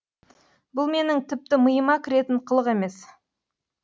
бұл менің тіпті миыма кіретін қылық емес